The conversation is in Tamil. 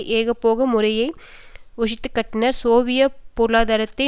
ஏகபோக முறையை ஒழித்துக்கட்டினர் சோவியத் பொருளாதாரத்தை